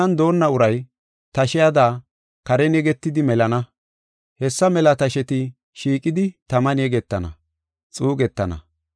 Tanan doonna uray tashiyada karen yegitidi melana. Hessa mela tasheti shiiqidi taman yegetana, xuugetana.